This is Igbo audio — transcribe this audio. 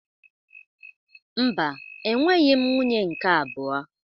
Mba, enweghị m nwunye nke abụọ.